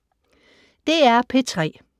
DR P3